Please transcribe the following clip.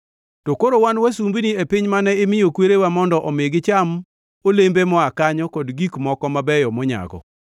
“To koro wan wasumbini e piny mane imiyo kwerewa mondo omi gicham olembe moa kanyo kod gik moko mabeyo monyago.